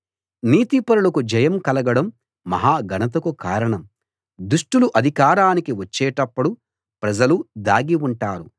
నీతిపరులకు జయం కలగడం మహాఘనతకు కారణం దుష్టులు అధికారానికి వచ్చేటప్పుడు ప్రజలు దాగిఉంటారు